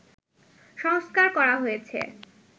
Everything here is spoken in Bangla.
সংস্কার করা হয়েছে